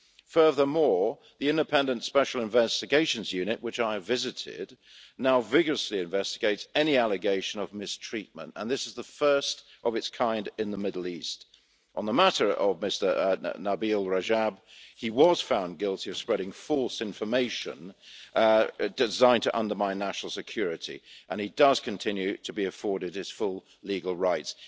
Furthermore, the independent Special Investigations Unit, which I have visited, now vigorously investigates any allegation of mistreatment, and this is the first of its kind in the Middle East. On the matter of Mr Nabeel Rajab he was found guilty of spreading false information designed to undermine national security, and he does continue to be afforded his full legal rights.